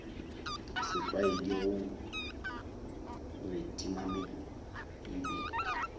setlwaedi gore timamello e be